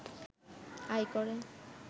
আয় করে